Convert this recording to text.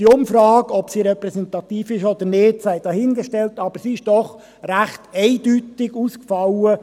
Die Umfrage bei der Bevölkerung von Biel, ob sie repräsentativ ist oder nicht, sei dahingestellt, fiel doch recht eindeutig aus.